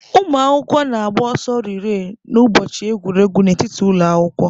Ụmụ akwụkwọ na-agba ọsọ rịree n'ụbọchị egwuregwu n'etiti ụlọ akwụkwọ